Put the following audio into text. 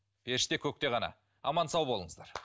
періште көкте ғана аман сау болыңыздар